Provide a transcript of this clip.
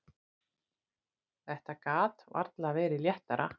Þetta gat varla verið léttara.